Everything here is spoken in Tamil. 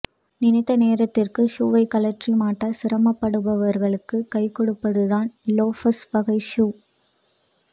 நினைத்த நேரத்துக்கு ஷூவைக் கழற்றி மாட்ட சிரமப்படுபவர்களுக்கு கைகொடுப்பதுதான் லோஃபர்ஸ் வகை ஷூ